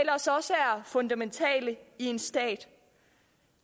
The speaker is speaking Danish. fundamentale i en stat